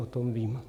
O tom vím.